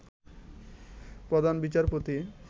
প্রধান বিচারপতি